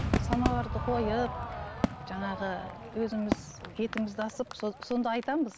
самоварды қойып жаңағы өзіміз етімізді асып сонда айтамыз